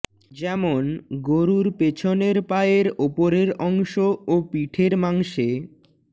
যেমন গরুর পেছনের পায়ের ওপরের অংশ ও পিঠের মাংসে